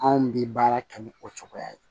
Anw bɛ baara kɛ ni o cogoya ye